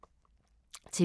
TV 2